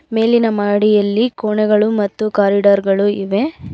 ಮೇಲಿನ ಮಹಡಿಯಲ್ಲಿ ಕೋಣೆಗಳು ಮತ್ತು ಕಾಲಿಡಾರ್ ಗಳು ಇವೆ.